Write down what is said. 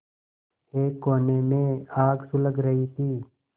एक कोने में आग सुलग रही थी